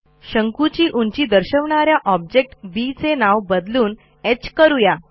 शंकूची उंची दर्शवणा या ऑब्जेक्ट बी चे नाव बदलून ह करू या